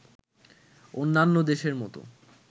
অন্যান্য দেশের মতো